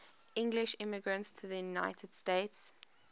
english immigrants to the united states